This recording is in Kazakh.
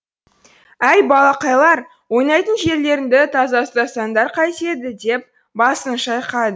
әй балақайлар ойнайтын жерлеріңді таза ұстасаңдар қайтеді деп басын шайқады